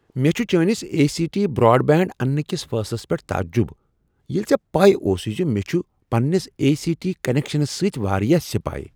مےٚ چھ چٲنس اے سی ٹی برٛاڈبینٛڈ انٛنہٕ کس فیصلس پیٹھ تعجب ییٚلہ ژےٚ پَے اوسُے مےٚ چھ پنٛنس اے سی ٹی کنیکشنس سۭتۍ واریاہ سیاپہٕ